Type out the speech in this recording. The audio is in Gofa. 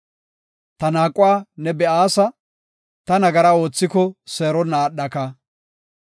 Ta naaquwa ne be7aasa; ta nagara oothiko seeronna aadhaka.